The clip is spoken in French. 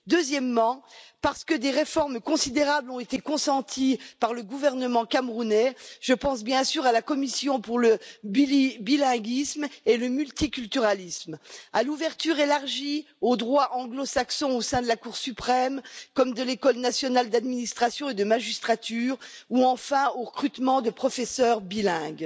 Ensuite, parce que des réformes considérables ont été consenties par le gouvernement camerounais, je pense bien sûr à la commission pour le bilinguisme et le multiculturalisme, à l'ouverture élargie, au droit anglo saxon au sein de la Cour suprême comme de l'École Nationale nationale d'Administration d'administration et de magistrature ou, enfin, au recrutement de professeurs bilingues.